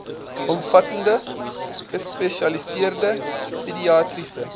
omvattende gespesialiseerde pediatriese